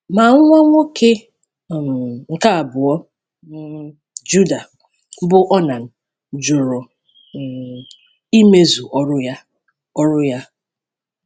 Ma nwa nwoke um nke abụọ um Juda, bụ́ Onan, jụrụ um imezu ọrụ ya. ọrụ ya.